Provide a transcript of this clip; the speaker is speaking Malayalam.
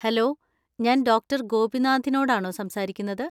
ഹലോ, ഞാൻ ഡോക്ടർ ഗോപിനാഥിനോടാണോ സംസാരിക്കുന്നത്?